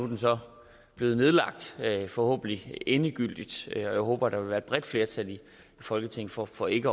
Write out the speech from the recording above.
den så blevet nedlagt forhåbentlig endegyldigt og jeg håber at der vil være et bredt flertal i folketinget for for ikke